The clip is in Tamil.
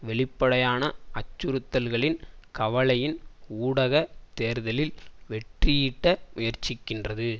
வெளிப்படையான அச்சுறுத்தல்களின் கலவையின் ஊடாக தேர்தலில் வெற்றியீட்ட முயற்சிக்கின்றது